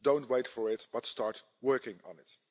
Don't wait for it but start working on it.